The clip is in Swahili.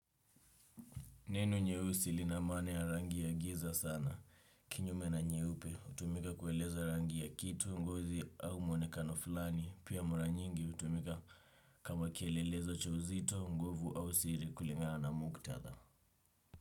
Neno nyeusi lina maana ya rangi ya giza sana. Kinyume na nyeupe, hutumika kueleza rangi ya kitu, ngozi au mwonekano fulani. Pia mara nyingi hutumika kama kielelezo cha uzito, nguvu au siri kulingana na muktadha.